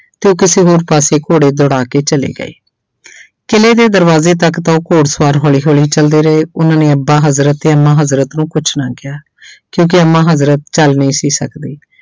ਤੇ ਉਹ ਕਿਸੇ ਹੋਰ ਪਾਸੇ ਘੋੜੇ ਦੌੜਾ ਕੇ ਚਲੇ ਗਏ ਕਿਲ੍ਹੇ ਦੇ ਦਰਵਾਜ਼ੇ ਤੱਕ ਤਾਂ ਉਹ ਘੋੜ ਸਵਾਰ ਹੌਲੀ ਹੌਲੀ ਚੱਲਦੇ ਰਹੇ ਉਹਨਾਂ ਨੇ ਅੱਬਾ ਹਜ਼ਰਤ ਤੇ ਅੰਮਾ ਹਜ਼ਰਤ ਨੂੰ ਕੁਛ ਨਾ ਕਿਹਾ ਕਿਉਂਕਿ ਅੰਮਾ ਹਜ਼ਰਤ ਚੱਲ ਨਹੀਂ ਸੀ ਸਕਦੀ।